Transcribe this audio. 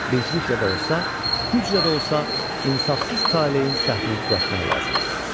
Bircəliklə də olsa, güclə də olsa, insafsız talehin səhvini düzəltmək lazımdır.